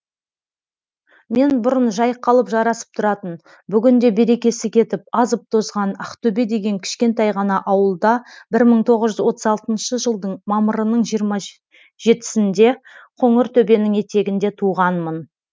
мен бұрын жайқалып жарасып тұратын бүгінде берекесі кетіп азып тозған ақтөбе деген кішкентай ғана ауылда бір мың тоғыз жүз отыз алтыншы жылдың мамырының жиырма жетісінде қоңыртөбенің етегінде туғанмын